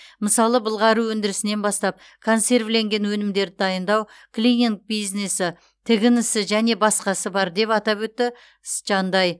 мысалы былғары өндірісінен бастап консервіленген өнімдерді дайындау клининг бизнесі тігін ісі және басқасы бар деп атап өтті жандай